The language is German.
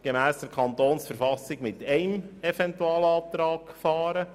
Gemäss der KV können wir mit einem einzigen Eventualantrag fahren.